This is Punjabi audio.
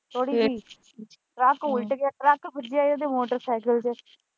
ਟਰੱਕ ਉਲਟ ਕੇ ਟਰੱਕ ਵੱਜਿਆ ਮੋਟਰਸਾਈਕਲ ਇਹਦੇ ਤੇ।